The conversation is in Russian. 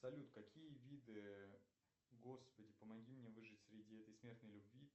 салют какие виды господи помоги мне выжить среди этой смертной любви